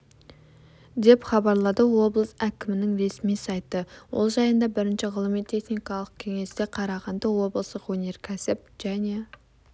деп хабарлады облыс әкімінің ресми сайты ол жайында бірінші ғылыми-техникалық кеңесте қарағанды облысық өнеркәсіп және